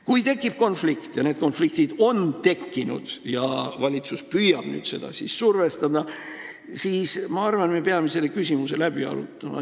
Kui tekib konflikt – ja need konfliktid on tekkinud – ja valitsus püüab nüüd avalikkust survestada, siis minu arvates me peame selle küsimuse läbi arutama.